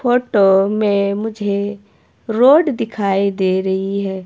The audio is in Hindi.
फोटो मे मुझे रोड दिखाई दे रही है।